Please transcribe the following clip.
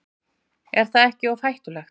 Er það ekki of hættulegt?